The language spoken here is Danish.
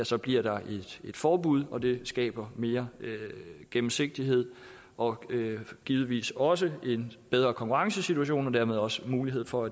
så bliver der et forbud og det skaber mere gennemsigtighed og givetvis også en bedre konkurrencesituation og dermed også mulighed for